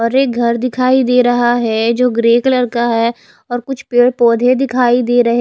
और एक घर दिखाई दे रहा है जो ग्रे कलर का है और कुछ पेड़ पोधे दिखाई दे रहे--